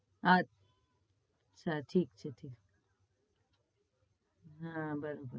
હા ઠીક છે ઠીક છે હ બરોબર